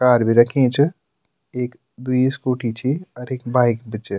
कार भी रखीं च एक-द्वि स्कूटी छि अर एक बाइक भी च।